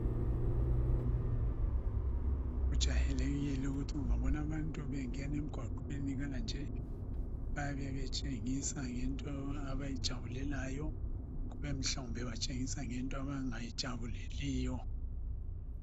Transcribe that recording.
Kujayelekile ukuthi ungabona abantu bengena emgwaqweni kanje bayabe betshengisa ngento abayijabulelayo kube mhlawumbe batshengisa ngento abangayijabuleliyo.